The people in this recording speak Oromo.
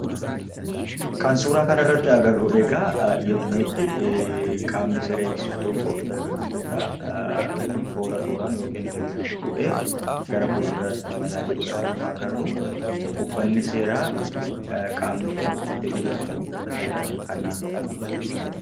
Kan suuraa kana irratti agarru egaa, yemmuutti qaamni seera eegsisu tokko dargagoota toora tooraan yookaan hiriiraan fuudhee gara fulduraatti imalaa jirudha kan nuti agarruu. Uffanni seeraa qaamni Kun uffatee jiru Kun ,uffata seeraa kan naannoo kamiiti?